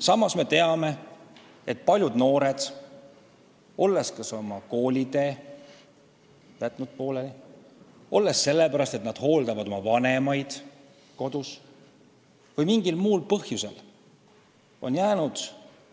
Samas me teame, et paljud noored, kes on oma koolitee pooleli jätnud, kes hooldavad kodus oma vanemaid või kellel on mingi muu põhjus, on jäänud